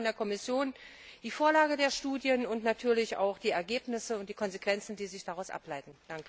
Wir erwarten von der Kommission die Vorlage der Studien und natürlich auch die Ergebnisse und die Konsequenzen, die sich daraus ableiten.